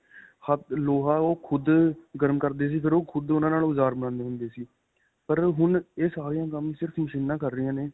ਲੋਹਾ ਓਹ ਖੁੱਦ ਗਰਮ ਕਰਦੇ ਸੀ ਫਿਰ ਓਹ ਖੁੱਦ ਓਹਨਾਂ ਨਾਲ ਓਜਾਰ ਬਣਾਉਂਦੇ ਹੁੰਦੇ ਸੀ. ਪਰ ਹੁਣ ਇਹ ਸਾਰਾ ਕੰਮ ਸਿਰਫ ਮਸ਼ੀਨਾ ਕਰ ਰਹੀਆਂ ਨੇ